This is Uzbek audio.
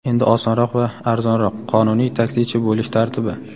Endi osonroq va arzonroq: Qonuniy taksichi bo‘lish tartibi.